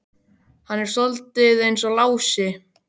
Hann er soldið eins og Lási.